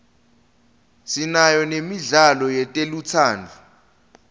sinayo nemidlalo yetelutsandvo